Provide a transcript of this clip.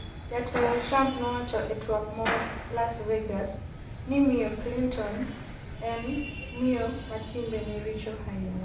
jatelo Trump nowacho e twak moro Las Vegas ni miyo Clinton'' en miyo matimbe ne richo ahinya''